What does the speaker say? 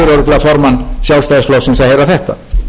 örugglega formann sjálfstæðisflokksins að heyra þetta samningar